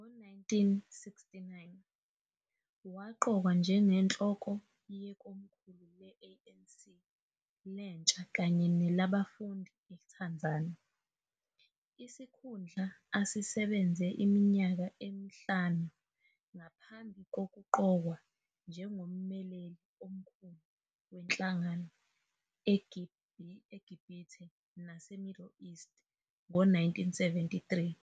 Ngo-1969 waqokwa njengenhloko yekomkhulu le-ANC lentsha kanye nelabafundi eTanzania, isikhundla asisebenze iminyaka emihlanu ngaphambi kokuqokwa njengommeleli omkhulu wenhlangano eGibhithe naseMiddle East ngo-1973.